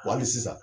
Wa hali sisan